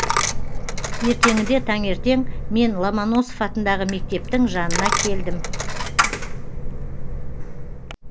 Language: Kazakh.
ертеңінде таңертең мен ломоносов атындағы мектептің жанына келдім